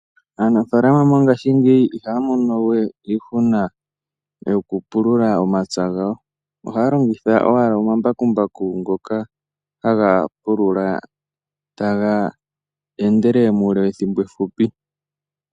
Aanafalama mongashingeyi ihaya mono we iihuna kokupulula omapya gawo. Ohaya longitha omambakumbaku ngoka haga pulula taga endelele muule wethimbo efupi.